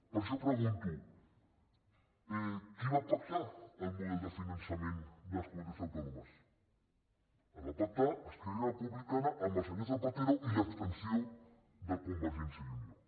per això pregunto qui va pactar el model de finançament de les comunitats autònomes el va pactar esquerra repu·blicana amb el senyor zapatero i l’abstenció de con·vergència i unió